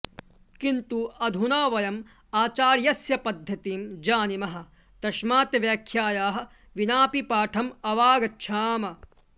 किन्तु अधुना वयम् आचार्यस्य पद्धतिं जानीमः तस्मात् व्याख्यायाः विनापि पाठम् अवागच्छाम